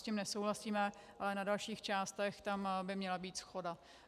S tím nesouhlasíme, ale na dalších částech tam by měla být shoda.